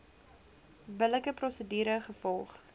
billike prosedure gevolg